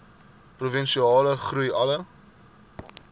provinsiale groei alle